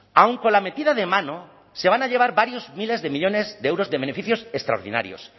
aun con la metida de mano se van a llevar varios miles de millónes de euros de beneficios extraordinarios